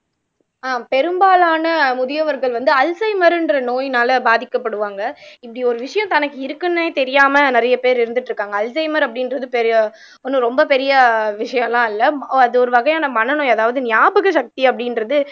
அஹ் பெரும்பாலான முதியவர்கள் வந்து அல்ஸீமர்ன்ற நோயினால பாதிக்கப்படுவாங்க இப்படி ஒரு விஷயம் தனக்கு இருக்குன்னே தெரியாம நிறைய பேர் இருந்துட்டு இருக்காங்க அல்ஸீமர் அப்படின்றது பெரிய ஒன்றும் ரொம்ப பெரிய விஷயம் எல்லாம் இல்ல அது ஒரு வகையான மன நோய் அதாவது ஞாபக சக்தி அப்படின்றது